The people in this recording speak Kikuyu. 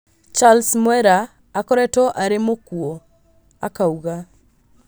Charles Mwera akoretwo arĩ mũkuo,"akauga